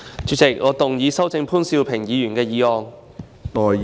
主席，我動議修正潘兆平議員的議案。